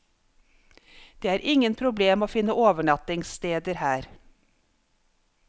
Det er ingen problem å finne overnattingssteder her.